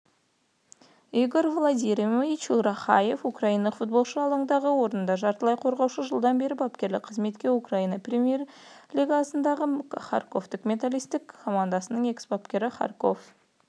игорь владимирович рахаев украиналық футболшы алаңдағы орны жартылай қорғаушы жылдан бері бапкерлік қызметте украина премьер-лигасындағы харковтік металлист командасының экс-бапкері харьков